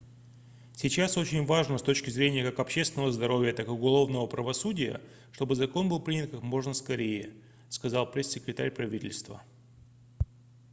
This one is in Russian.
сейчас очень важно с точки зрения как общественного здоровья так и уголовного правосудия чтобы закон был принят как можно скорее - сказал пресс-секретарь правительства